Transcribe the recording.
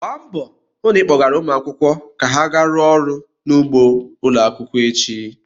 Gba mbọ hụ na ị kpọgara ụmụ akwụkwọ ka ha gaa rụọ ọrụ n'ugbo ụlọ akwụkwọ echi!